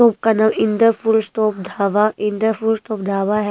का नाम इंद्र पुरुष तोप ढाबा इंद्र पुरुष तोप ढाबा है।